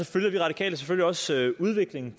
følger vi radikale selvfølgelig også udviklingen